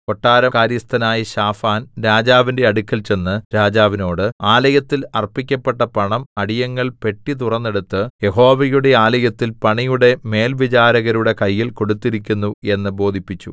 കൊട്ടാരം കാര്യസ്ഥനായ ശാഫാൻ രാജാവിന്റെ അടുക്കൽ ചെന്ന് രാജാവിനോട് ആലയത്തിൽ അർപ്പിക്കപ്പെട്ട പണം അടിയങ്ങൾ പെട്ടി തുറന്നെടുത്ത് യഹോവയുടെ ആലയത്തിൽ പണിയുടെ മേൽവിചാരകരുടെ കയ്യിൽ കൊടുത്തിരിക്കുന്നു എന്ന് ബോധിപ്പിച്ചു